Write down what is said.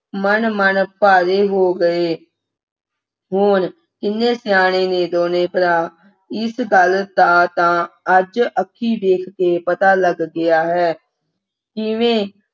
ਮਣ ਮਣ ਭਾਰੇ ਹੋ ਗਏ ਹੋਰ ਕਿੰਨੇ ਸਿਆਣੇ ਨੇ ਦੋਨੋਂ ਭਰਾ ਇਸ ਗੱਲ ਦਾ ਤਾਂ ਅੱਜ ਅੱਖੀਂ ਵੇਖ ਕੇ ਪਤਾ ਲੱਗ ਗਿਆ ਹੈ ਕਿਵੇਂ